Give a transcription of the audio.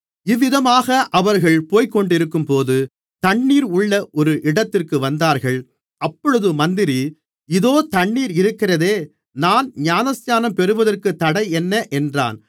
இவ்விதமாக அவர்கள் போய்க்கொண்டிருக்கும்போது தண்ணீர் உள்ள ஒரு இடத்திற்கு வந்தார்கள் அப்பொழுது மந்திரி இதோ தண்ணீர் இருக்கிறதே நான் ஞானஸ்நானம் பெறுகிறதற்குத் தடை என்ன என்றான்